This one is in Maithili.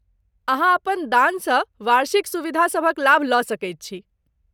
अहाँ अपन दानसँ वार्षिक सुविधासभक लाभ लऽ सकैत छी।